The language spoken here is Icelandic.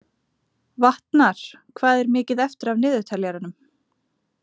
Vatnar, hvað er mikið eftir af niðurteljaranum?